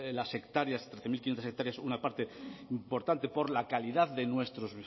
las hectáreas trece mil quinientos una parte importante por la calidad de nuestros